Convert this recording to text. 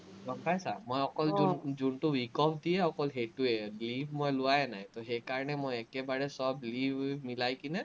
গম পাইছা, মই অকল জোন জোনটো week-off দিয়ে, সেইটোৱেই leave মই লোৱাই নাই, সেইকাৰণে মই একেবাৰে চব leave উভ মিলাই কেনে